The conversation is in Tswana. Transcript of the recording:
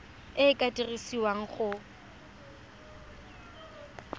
e e ka dirisiwang go